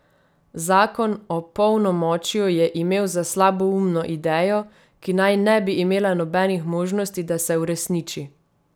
Zakon o polnomočju je imel za slaboumno idejo, ki naj ne bi imela nobenih možnosti, da se uresniči.